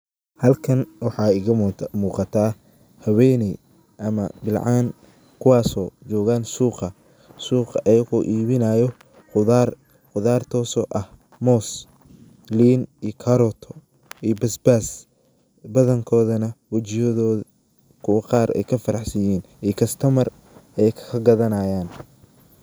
Halkan waxa iga muquta haweyneey ama bilcan kuwaso joogan suuqa, suuqa ayago ibinayan qodhar, qudhar taso ah mos, liin iyo caroto iyo basbas badhankodhana wijiyodha kuu qaar ay faraxsiin ay kastamar ay kagadhanayan.